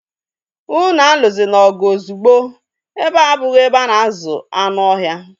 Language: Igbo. Unu aluzina ọgụ ozugbo! Ebea abụghị ebe a na-azụ anụ ohia